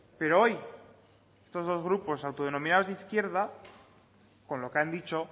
pero hoy estos dos grupos autodenominados de izquierda con lo que han dicho